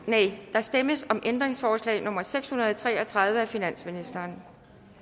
der stemmes om ændringsforslag nummer seks hundrede og tre og tredive af finansministeren